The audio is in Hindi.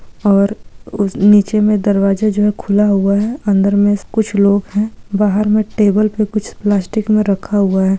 और उस निचे में दरवाजा जो है | वो खुला हुवा है अन्दर में कुछ लोग है बहार में टेबूल मे कुच्व्ह प्लास्टिक में रखा हुवा है ।